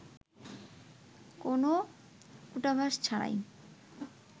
কোনো কূটাভাস ছাড়াই